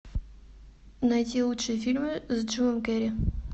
найти лучшие фильмы с джимом керри